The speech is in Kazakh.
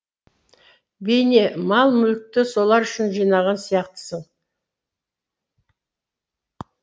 бейне мал мүлікті солар үшін жинаған сияқтысың